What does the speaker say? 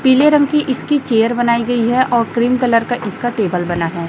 पीले रंग की इसकी चेयर बनाई गई है और क्रीम कलर का इसका टेबल बना है।